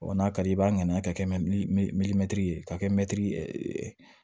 Ɔ n'a ka di i b'a nɛgɛ ka kɛ ye ka kɛ mɛtiri